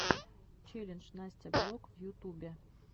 челлендж настя блог в ютубе